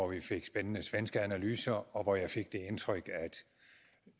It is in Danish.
vi fik spændende svenske analyser og jeg fik det indtryk